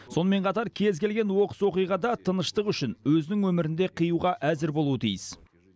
сонымен қатар кез келген оқыс оқиғада тыныштық үшін өзінің өмірін де қиюға әзір болуы тиіс